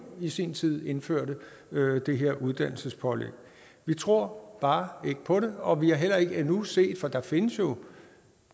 i sin tid indførte det her uddannelsespålæg vi tror bare ikke på det og vi har heller ikke endnu set for der findes jo